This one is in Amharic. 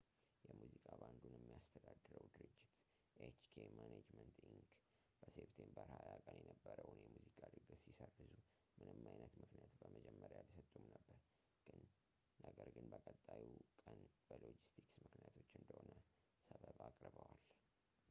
የሙዚቃ ባንዱን የሚያስተዳድረው ድርጅት፣ hk management inc.፣ በseptember 20 ቀን የነበረውን የሙዚቃ ድግስ ሲሰርዙ ምንም አይነት ምክንያት በመጀመሪያ አልሰጡም ነበር፣ ነገር ግን በቀጣዩ ቀን በሎጂስቲክስ ምክንያቶች እንደሆነ ሰበብ አቅርበዋል